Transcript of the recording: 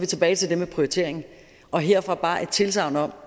tilbage til det med prioriteringen og herfra bare et tilsagn om